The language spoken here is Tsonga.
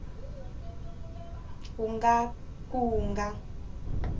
wu nga ka wu nga